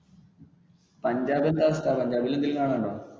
പഞ്ചാബ് എന്താ സ്ഥലം. പഞ്ചാബിൽ എന്തെങ്കിലും കാണാൻ ഉണ്ടോ?